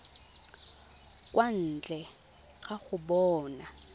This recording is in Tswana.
kwa ntle ga go bona